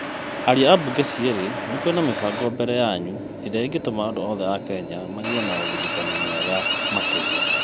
aaria a mbunge cierĩ, nĩkũrĩ na mĩbango mbere yanyu ĩrĩa ĩngĩtũma andũ othe a Kenya magĩe na ũrigitani mwega makĩria.